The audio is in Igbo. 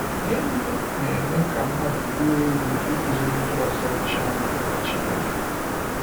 Gịnị na-eme ka mmadụ ruo eru ịkụziri ndị ọzọ Chiamaka Chineke?